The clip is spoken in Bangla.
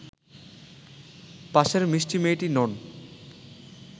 পাশের মিষ্টি মেয়েটি নন